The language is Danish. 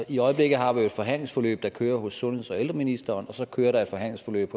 i øjeblikket har vi jo et forhandlingsforløb der kører hos sundheds og ældreministeren og så kører der et forhandlingsforløb